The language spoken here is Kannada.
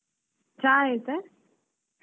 ಹ್ಮ್ ಅದೇ ಚ ಆಯ್ತಾ?